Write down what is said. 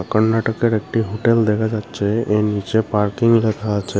কর্ণাটকের একটি হোটেল দেখা যাচ্ছে এর নিচে পার্কিং রাখা আছে।